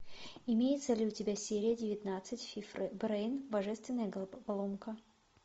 имеется ли у тебя серия девятнадцать фи брейн божественная головоломка